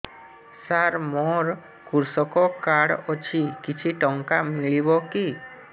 ସାର ମୋର୍ କୃଷକ କାର୍ଡ ଅଛି କିଛି ଟଙ୍କା ମିଳିବ କି